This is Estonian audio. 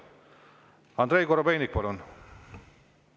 Andrei Korobeinik, palun!